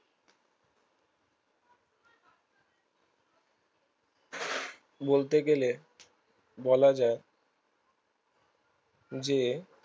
বলতে গেলে বলা যায় যে